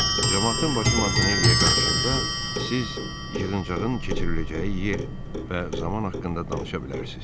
Camaatın başı Montanelliyə qarışanda siz yığıncağın keçiriləcəyi yer və zaman haqqında danışa bilərsiniz.